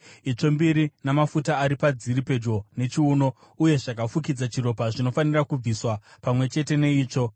itsvo mbiri namafuta ari padziri pedyo nechiuno, uye zvakafukidza chiropa, zvinofanira kubviswa pamwe chete neitsvo.